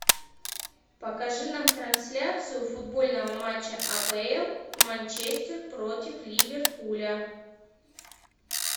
покажи нам трансляцию футбольного матча апл манчестер против ливерпуля